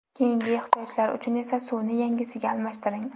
Keyingi ehtiyojlar uchun esa suvni yangisiga almashtiring.